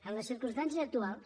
amb les circumstàncies actuals